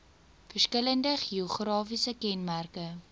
verskillende geografiese kenmerke